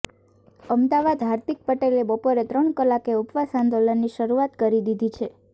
અમદાવાદઃ હાર્દિક પટેલે બપોરે ત્રણ કલાકે ઉપવાસ આંદોલનની શરૂઆત કરી દીધી છે